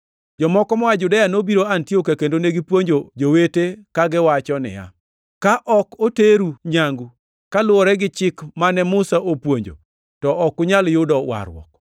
Jomoko moa Judea nobiro Antiokia kendo negipuonjo jowete kagiwacho niya, “Ka ok oteru nyangu kaluwore gi chik mane Musa opuonjo to ok unyal yudo warruok.”